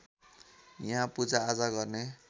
यहाँ पूजाआजा गर्ने